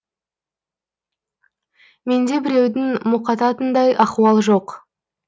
менде біреудің мұқататындай ахуал жоқ